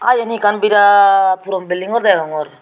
ah yan hi ekkan birat puron belding gor deongor.